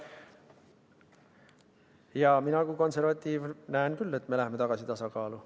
Jaa, mina kui konservatiiv näen küll, et me läheme tagasi tasakaalu.